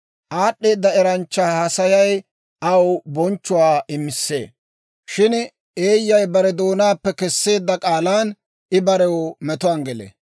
Aad'd'eeda eranchchaa haasayay aw bonchchuwaa imissee; shin eeyyay bare doonaappe keseedda k'aalan I barew metuwaan gelee.